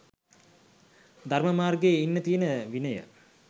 ධර්ම මාර්ගයේ ඉන්න තියෙන විනය